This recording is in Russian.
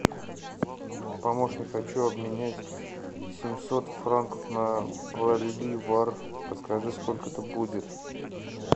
помощник хочу обменять семьсот франков на боливар подскажи сколько это будет